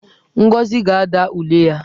Ngozi ga-ada ule ya.